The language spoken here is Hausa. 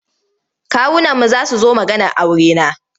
Kawunanmu za su zo maganar aurena.